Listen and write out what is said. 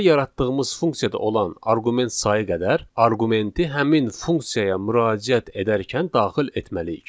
Deməli yaratdığımız funksiyada olan arqument sayı qədər arqumenti həmin funksiyaya müraciət edərkən daxil etməliyik.